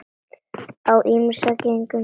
Á ýmsu gengur hjá Gerði.